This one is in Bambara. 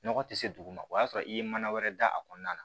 Nɔgɔ tɛ se dugu ma o y'a sɔrɔ i ye mana wɛrɛ da a kɔnɔna na